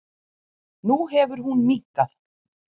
Nú hefur hún minnkað.